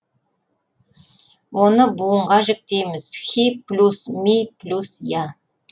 оны буынға жіктейміз хи плюс ми плюс я